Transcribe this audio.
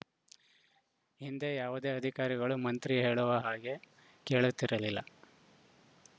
ಹಿಂದೆ ಯಾವುದೇ ಅಧಿಕಾರಿಗಳು ಮಂತ್ರಿ ಹೇಳುವ ಹಾಗೆ ಕೇಳುತ್ತಿರಲಿಲ್ಲ